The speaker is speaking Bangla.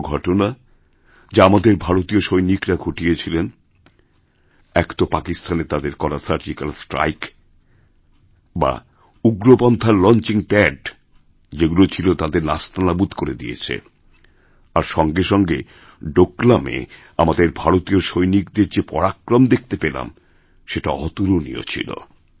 দুটো ঘটনা যা আমাদের ভারতীয় সৈনিকরা ঘটিয়েছেন এক তো পাকিস্তানেতাদের করা সার্জিক্যাল স্ট্রাইক যা উগ্রপন্থার লঞ্চিং প্যাড যেগুলো ছিল তাদেরনাস্তানাবুদ করে দিয়েছে আর সঙ্গে সঙ্গে ডোকলামে আমাদের ভারতীয় সৈনিকদের যে পরাক্রমদেখতে পেলাম সেটা অতুলনীয় ছিল